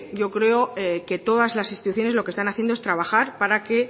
yo creo que todas las instituciones lo que están haciendo que es trabajar para que